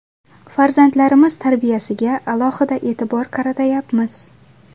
Farzandlarimiz tarbiyasiga alohida e’tibor qaratayapmiz.